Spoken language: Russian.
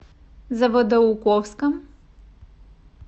заводоуковском